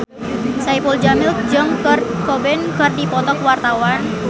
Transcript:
Saipul Jamil jeung Kurt Cobain keur dipoto ku wartawan